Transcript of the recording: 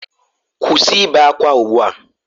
Kwụsị ibe ákwá ugbu a!